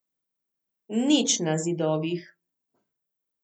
Nič na zidovih.